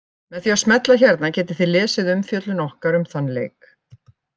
Með því að smella hérna getið þið lesið umfjöllun okkar um þann leik.